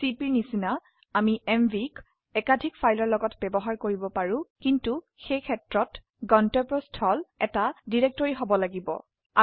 Cpৰ নিচিনা আমিmv ক একাধিক ফাইলৰ লগত ব্যবহাৰ কৰিব পাৰো কিন্তু সেই সেত্ৰত গন্তব্যস্থল এটা ডিৰেক্টৰি হব লাগিব